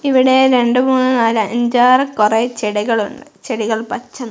ഇവിടെ രണ്ട് മൂന്ന് നാല് അഞ്ചാറ് കൊറെ ചെടികൾ ഒണ്ടു ചെടികൾ പച്ച നി--